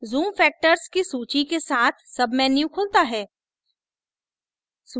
zoom factors की सूची के साथ सबमेन्यू खुलता है